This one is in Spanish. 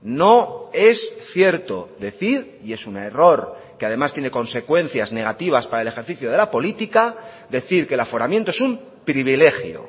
no es cierto decir y es un error que además tiene consecuencias negativas para el ejercicio de la política decir que el aforamiento es un privilegio